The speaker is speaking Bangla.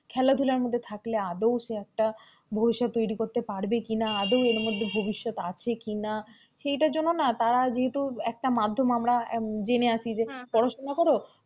খেলাধুলার মধ্যে থাকলে আদেও সে একটা ভবিষ্যৎ তৈরি করতে পারবে কি না, আদেও এর মধ্যে ভবিষ্যৎ আছে কি না, সেটা জন্য না তারা যেহেতু একটা মাধ্যম আমরা জেনে আছি যে পড়াশোনা কর,